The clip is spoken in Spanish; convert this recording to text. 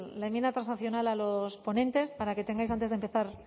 el la enmienda transaccional a los ponentes para que tengais antes de empezar